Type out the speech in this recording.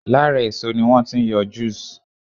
Lára èso ni wọ́n ti ń yọ juice